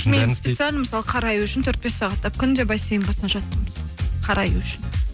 специально мысалы қараю үшін төрт бес сағаттап күнде бассейн қасына жаттым қараю үшін